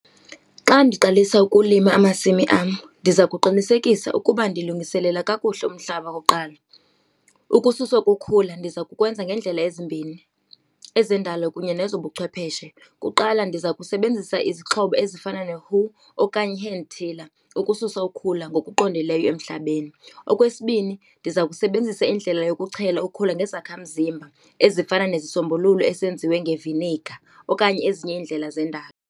Xa ndiqalisa ukulima amasimi am ndiza kuqinisekisa ukuba ndilungiselela kakuhle umhlaba okokuqala. Ukususwa kokhula ndiza kukwenza ngendlela ezimbini, ezendalo kunye nezobuchwepheshe. Kuqala ndiza kusebenzisa izixhobo ezifana ne-hoe okanye i-hand tiller ukususa ukhula ngokuqondeleyo emhlabeni. Okwesibini ndiza kusebenzisa indlela yokuchela ukhula nezakhamzimba ezifana nezisombululo esenziwe ngeviniga okanye ezinye iindlela zendalo.